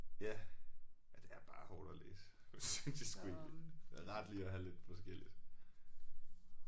Ja. Ja det er bare hårdt at læse synes jeg sgu egentlig det er rart lige at have lidt forskelligt